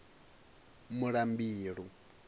muḽambilu